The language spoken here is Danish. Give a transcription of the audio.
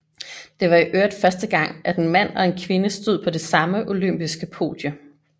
Det var i øvrigt første gang at en mand og en kvinde stod på det samme olympiske podie